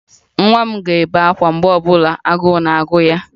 Nwa m ga-ebe ákwá mgbe ọ bụla agụụ na-agụ ya